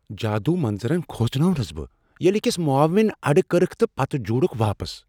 جادو منظرن كھوژنوونس بہٕ ییلہِ اكِس معاون ٲڑٕ كرِكھ تہٕ پتہٕ جوٗڈُكھ واپس ۔